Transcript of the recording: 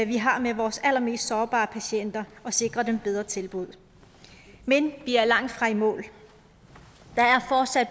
vi har med vores allermest sårbare patienter at sikre dem bedre tilbud men vi er langtfra i mål